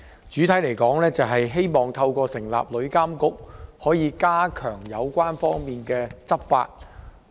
整體而言，《條例草案》旨在透過成立旅遊業監管局，加強有關方面的執法。